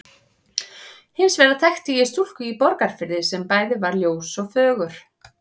Hins vegar þekkti ég stúlku í Borgarfirði sem bæði var ljós og fögur.